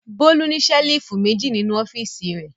Bólú ní ṣẹ́lífù méjì nínú ọ́fíísì rẹ̀.